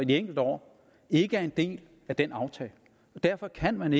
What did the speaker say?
de enkelte år ikke er en del af den aftale derfor kan man